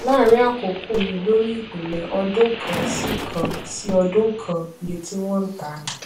láàárín àkókò yìí lórí ìpìlẹ ọdún kan sí kan sí ọdún kan iye tí wọn ń tà ní